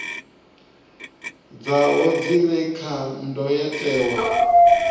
dzavho dzi re kha ndayotewa